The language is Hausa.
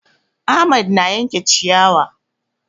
Ahmad na yanke ciyawa